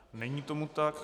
Není tomu tak.